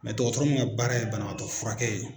dɔgɔtɔrɔ mun ka baara ye banabaatɔ furakɛ ye.